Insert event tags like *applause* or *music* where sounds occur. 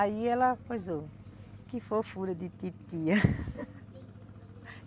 Aí ela coisou... Que fofura de titia *laughs*